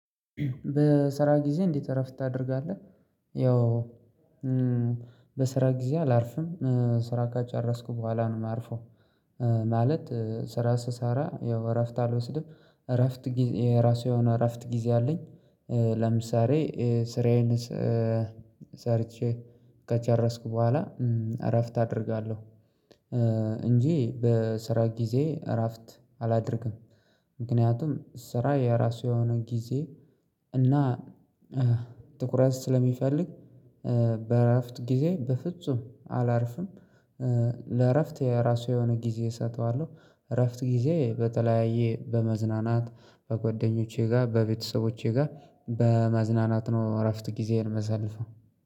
በስራ ጊዜ እንዴት እረፍት ታደርጋለህ? ያው በስራ ጊዜ አላርፍም ስራ ካጨረስኩ በኋላ ነው የማርፈው። ማለት ስራ ስሰራ ያው እረፍት አልወስድም እረፍት ጊዜ ራሱ የሆነ የእረፍት ጊዜ አለኝ። ለምሳሌ ስራዬን ሰርቼ ከጨረስኩ በኋላ እረፍት አደርጋለሁ እንጂ በስራ ጊዜ እራፍት አላደርግም። ምክንያቱም ስራ የራሱ የሆነ ጊዜ እና ትኩረት ስለሚፈልግ በእራፍት ጊዜ በፍጹም አላርፍም። ለእረፍት የራሱ የሆነ ጊዜ እሰጠዋለሁ እረፍት ጊዜ በተለያየ በመዝናናት በጓደኞቼ ጋር በቤተሰቦቼ ጋር በመዝናናት ነው እረፍት ጊዜዬን መሳልፈው